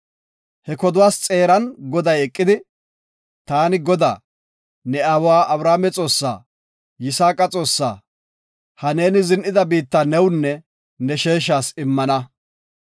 He koduwas xeeran Goday eqidi, “Taani Godaa, ne aawa Abrahaame Xoossa, Yisaaqa Xoossa, ha neeni zin7ida biitta newunne ne sheeshas immana.